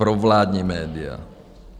Provládní média.